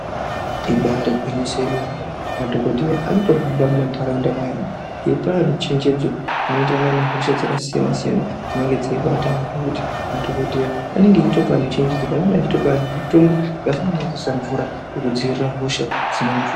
Ibari gwinyiso yemene. Madhokodheya anotohamba mumantaraunda mweanhu eipa anhu chenjedzo inoenderana nehosha dzakasiyana-siyana dzinenge dzeibata antu zvekuti madhokodheya anenge eitopa anhu chenjedzo pamwe anenge aitopa anhu mitombo yakafanana neyekuisa mvura yekudzivirira hosha dzine.